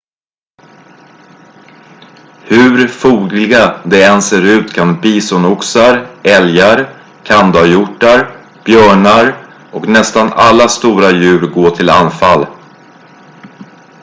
hur fogliga de än ser ut kan bisonoxar älgar kandahjortar björnar och nästan alla stora djur gå till anfall